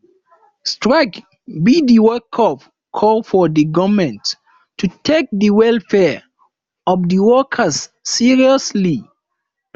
strike be di wakeup call for di government to take di welfare of di workers seriously